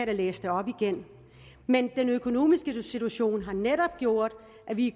da læse det op igen men den økonomiske situation har netop gjort at vi